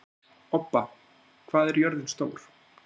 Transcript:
Obba, hvað er jörðin stór?